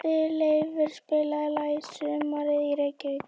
Kristleifur, spilaðu lagið „Sumarið í Reykjavík“.